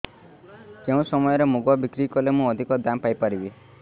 କେଉଁ ସମୟରେ ମୁଗ ବିକ୍ରି କଲେ ମୁଁ ଅଧିକ ଦାମ୍ ପାଇ ପାରିବି